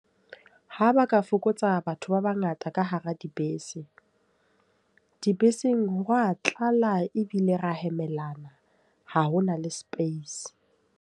Ha ba ka fokotsa batho ba bangata ka hara dibese. Dibeseng, hwa tlala ebile ra hemelana. Ha hona le space.